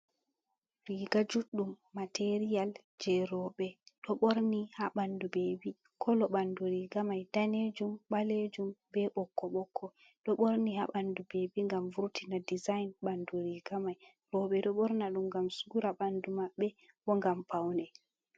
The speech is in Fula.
Riga juɗɗum materiyal je roɓe ɗo ɓorni ha ɓandu bebi kolo ɓandu riga mai danejum, ɓalejum, be ɓokko ɓokko ɗo ɓorni ha ɓandu bebi ngam vurtina dezign ɓandu riga mai roɓe ɗo ɓorna ɗum ngam sura ɓandu maɓɓe bo ngam paune.